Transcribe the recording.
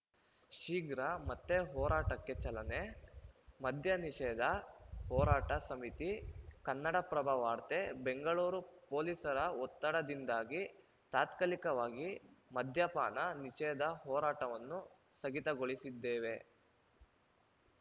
ಶೀಘ್ರ ಮತ್ತೆ ಹೋರಾಟಕ್ಕೆ ಚಾಲನೆ ಮದ್ಯ ನಿಷೇಧ ಹೋರಾಟ ಸಮಿತಿ ಕನ್ನಡಪ್ರಭ ವಾರ್ತೆ ಬೆಂಗಳೂರು ಪೊಲೀಸರ ಒತ್ತಡದಿಂದಾಗಿ ತಾತ್ಕಾಲಿಕವಾಗಿ ಮದ್ಯಪಾನ ನಿಷೇಧ ಹೋರಾಟವನ್ನು ಸ್ಥಗಿತಗೊಳಿಸಿದ್ದೇವೆ